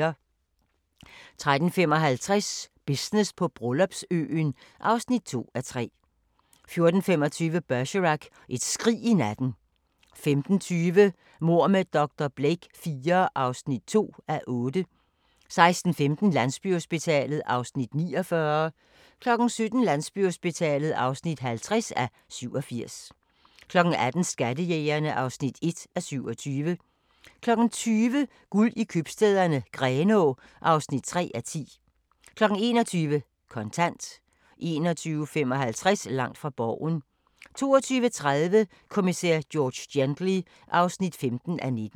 13:55: Business på Bryllupsøen (2:3) 14:25: Bergerac: Et skrig i natten 15:20: Mord med dr. Blake IV (2:8) 16:15: Landsbyhospitalet (49:87) 17:00: Landsbyhospitalet (50:87) 18:00: Skattejægerne (1:27) 20:00: Guld i Købstæderne - Grenaa (3:10) 21:00: Kontant 21:55: Langt fra Borgen 22:30: Kommissær George Gently (15:19)